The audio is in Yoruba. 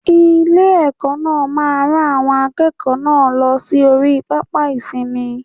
Ilé- èkó náà rán àwọn akéèkòó náà lọ sí orí pápá ìsinmi